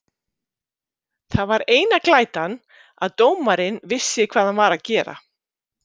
Það var eina glætan að dómarinn vissi hvað hann var að gera.